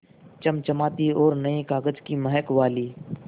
चमचमाती और नये कागज़ की महक वाली